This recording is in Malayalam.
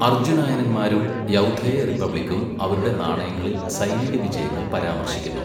അർജുനായനന്മാരും യൗധേയ റിപ്പബ്ലിക്കും അവരുടെ നാണയങ്ങളിൽ സൈനിക വിജയങ്ങൾ പരാമർശിക്കുന്നു.